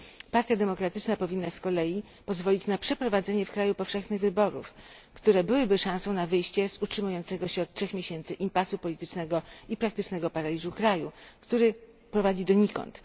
Partia Demokratyczna powinna z kolei pozwolić na przeprowadzenie w kraju powszechnych wyborów, które byłyby szansą na wyjście z utrzymującego się od 3 miesięcy impasu politycznego i praktycznego paraliżu kraju, który prowadzi donikąd.